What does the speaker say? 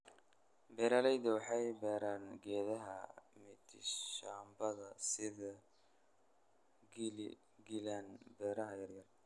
Beeralaydu waxay beeraan geedaha mitishamba sida giligilani beerta yaryar.